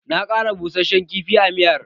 Na ƙara bussashen kifi a miyar